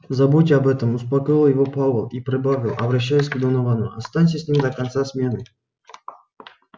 забудь об этом успокоил его пауэлл и прибавил обращаясь к доновану останься с ним до конца смены